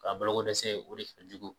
Ka bala ko dɛsɛ o de fɛn jugu